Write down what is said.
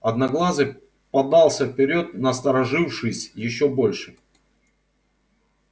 одноглазый подался вперёд насторожившись ещё больше